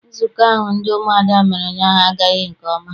Nzukọ ahụ ndị umuada mere ụnyaahụ agaghị nke ọma.